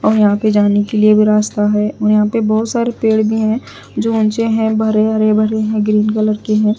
और यहां पे जाने के लिए भी रास्ता है और यहां पर बहुत सारे पेड़ भी हैं जो ऊंचे हैं भरे हरे भरे हैं ग्रीन कलर के हैं।